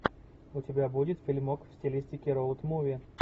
у тебя будет фильмок в стилистике роуд муви